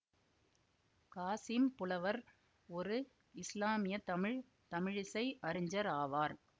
காசிம் புலவர் ஒரு இசுலாமிய தமிழ் தமிழிசை அறிஞர் ஆவார்